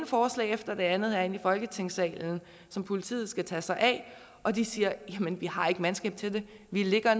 forslag efter det andet herinde i folketingssalen som politiet skal tage sig af og de siger jamen vi har ikke mandskab til det vi ligger